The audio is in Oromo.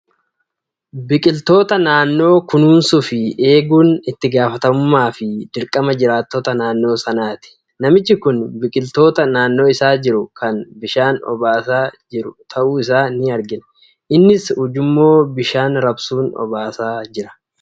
Biqiltoota naannoo kunuunsuu fi eeguun itti gaafatamummaa fi dirqama jiraattota naannoo sanaati. namichi kun biqiltoota naannoo isaa jiru kana bishaan obaasaa kan jiru ta'uu isaa ni argina. Innis ujummoo bishaan raabsuun obaasaa jira.